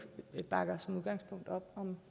bakker som udgangspunkt op om